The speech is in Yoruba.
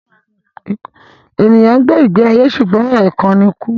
Ènìyàn ń gbé ìgbé ayé ṣùgbọ́n ẹ̀kan ni kú